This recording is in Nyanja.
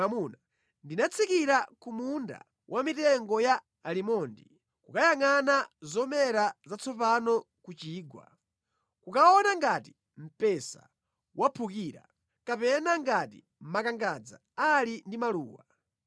Ndinatsikira ku munda wa mitengo ya alimondi kukayangʼana zomera zatsopano ku chigwa, kukaona ngati mpesa waphukira kapena ngati makangadza ali ndi maluwa.